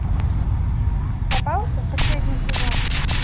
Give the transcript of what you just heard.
попался последний сезон